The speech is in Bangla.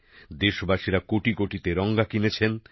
দেশবাসীরা কোটি কোটি তেরঙা কিনেছেন